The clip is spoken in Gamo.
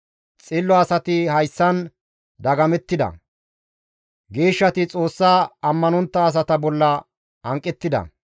Xillo asati hayssan dagamettida; geeshshati Xoossa ammanontta asata bolla hanqettida.